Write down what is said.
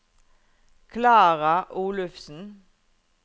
Klara Olufsen